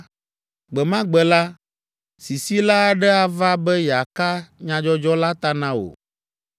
gbe ma gbe la, sisila aɖe ava be yeaka nyadzɔdzɔ la ta na wò.